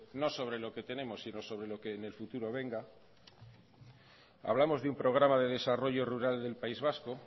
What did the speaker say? no sobre lo que tenemos si no sobre lo que en el futuro venga hablamos de un programa de desarrollo rural del país vasco